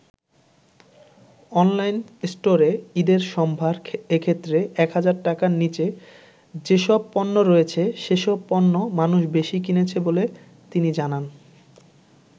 Online স্টোরে ঈদের সম্ভার এক্ষেত্রে ১০০০ টাকার নিচে যেসব পণ্য রয়েছে সেসব পণ্য মানুষ বেশি কিনছে বলে তিনি জানান।